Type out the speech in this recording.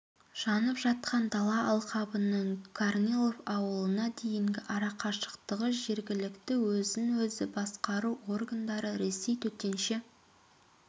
жанып жатқан дала алқабының корнилов ауылына дейінгі арақашықтығы жергілікті өзін-өзі басқару органдары ресей төтенше